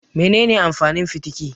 Mene ne amfanin fitiki?